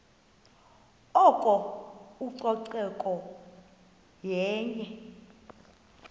oko ucoceko yenye